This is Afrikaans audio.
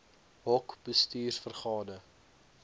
hoc bestuurs vergade